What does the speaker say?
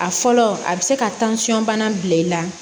A fɔlɔ a bɛ se ka bana bila i la